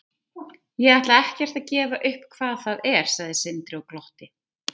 Ég ætla ekkert að gefa upp hvað það er, sagði Sindri og glotti.